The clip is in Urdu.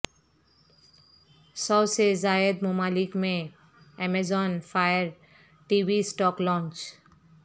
سو سے زائد ممالک میں Amazon Fire T V stick launch